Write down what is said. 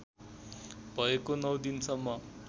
भएको नौ दिनसम्म